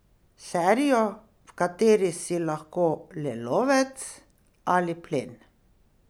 Serijo, v kateri si lahko le lovec ali plen.